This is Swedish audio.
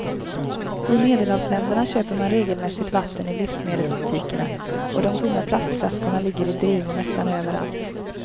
I medelhavsländerna köper man regelmässigt vatten i livsmedelsbutikerna och de tomma plastflaskorna ligger i drivor nästan överallt.